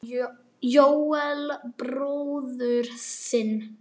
Jóel bróður sinn.